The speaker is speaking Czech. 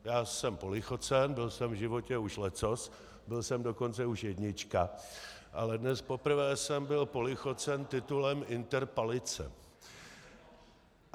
Já jsem polichocen, byl jsem v životě už leccos, byl jsem dokonce už jednička, ale dnes poprvé jsem byl polichocen titulem interpalice.